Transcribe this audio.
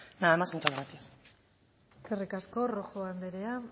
nada más muchas gracias eskerrik asko rojo andrea